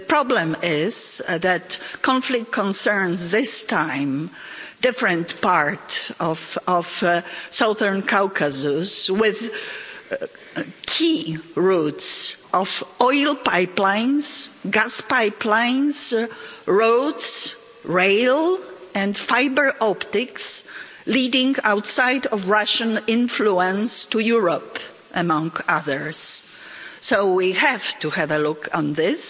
The problem is that the conflict concerns this time a different part of the southern Caucasus, with key routes of oil pipelines, gas pipelines, roads, rail and fibre optics leading outside of Russian influence to Europe, among others. So we have to have a look at this